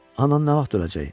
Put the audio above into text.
Anan nə vaxt öləcək?